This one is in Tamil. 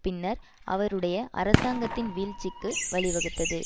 பின்னர் அவருடைய அரசாங்கத்தின் வீழ்ச்சிக்கு வழி வகுத்தது